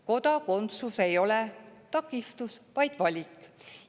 Kodakondsus ei ole takistus, vaid valik.